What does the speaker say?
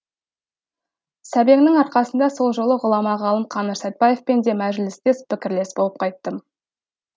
сәбеңнің арқасында сол жолы ғұлама ғалым қаныш сәтбаевпен де мәжілістес пікірлес болып қайттым